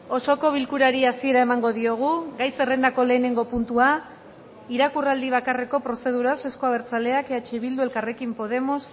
osoko bilkurari hasiera emango diogu gai zerrendako lehenengo puntua irakurraldi bakarreko prozeduraz euzko abertzaleak eh bildu elkarrekin podemos